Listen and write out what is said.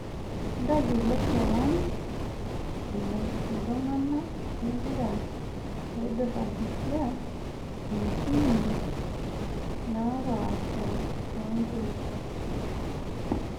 Ntayiolo keown olaing'uranak lempira oidurakita intimi naapasha toonkirisa.